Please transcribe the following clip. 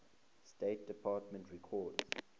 state department records